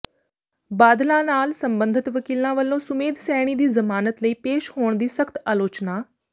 ਬਾਦਲਾਂ ਨਾਲ ਸਬੰਧਤ ਵਕੀਲਾਂ ਵਲੋਂ ਸੁਮੇਧ ਸੈਣੀ ਦੀ ਜ਼ਮਾਨਤ ਲਈ ਪੇਸ਼ ਹੋਣ ਦੀ ਸਖ਼ਤ ਆਲੋਚਨਾ